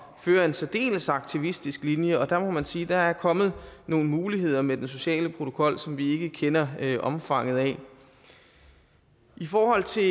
at føre en særdeles aktivistisk linje og der må man sige at der er kommet nogle muligheder med den sociale protokol som vi ikke kender omfanget af i forhold til